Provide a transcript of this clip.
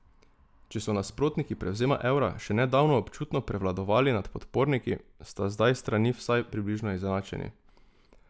Če so nasprotniki prevzema evra še nedavno občutno prevladovali nad podporniki, sta zdaj strani vsaj približno izenačeni.